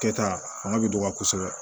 Kɛta fanga bɛ dɔgɔya kosɛbɛ